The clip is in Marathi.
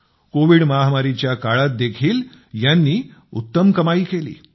कोविड महामारीच्या काळात देखील यांनी उत्तम कमाई केली